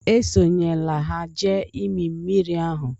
Esonyela ha jee ịmị mmiri ahụ!